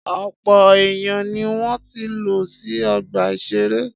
Ọ̀pọ̀ èèyàn ni wọ́n ti lọ sí ọgbà-ìṣeré